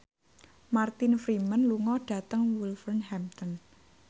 Martin Freeman lunga dhateng Wolverhampton